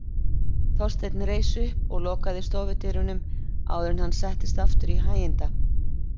Þorsteinn reis upp og lokaði stofudyrunum áður en hann settist aftur í hæginda